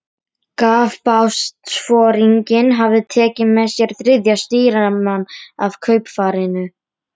Heill þér heiðursmaður sómapiltur sextán ára.